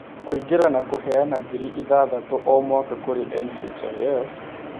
Kũingĩra na kũheana ngiri ithathatũ o mwaka kũrĩ NHIF,